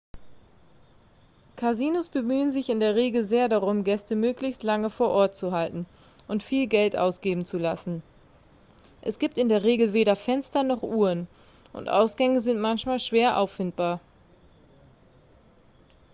kasinos bemühen sich in der regel sehr darum gäste möglichst lange vor ort zu halten und viel geld ausgeben zu lassen es gibt in der regel weder fenster noch uhren und ausgänge sind manchmal schwer auffindbar